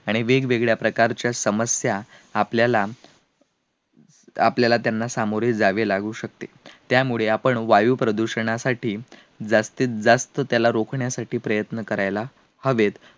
आणि वेगवेगळ्या प्रकारच्या समस्या आपल्याला, आपल्याला त्यांना सामोरे जावे लागू शकते त्यामुळे आपण वायु प्रदूषणासाठी जास्तीत जास्त त्याला रोखण्यासाठी प्रयत्न करायला हवेत